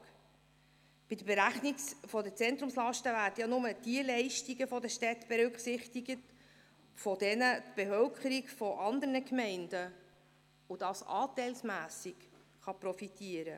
Bei der Berechnung der Zentrumslasten werden nur diejenigen Leistungen der Städte berücksichtigt, von welchen die Bevölkerung von anderen Gemeinden profitieren kann, und dies anteilsmässig.